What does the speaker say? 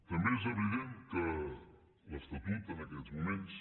també és evident que l’estatut en aquests moments